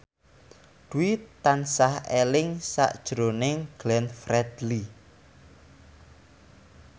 Dwi tansah eling sakjroning Glenn Fredly